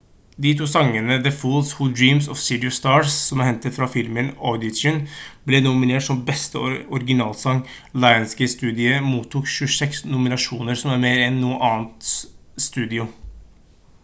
de to sangene the fools who dream og city of stars som er hentet fra filmen audition ble nominert som beste originalsang lionsgate-studio mottok 26 nominasjoner som er mer enn noe annet studio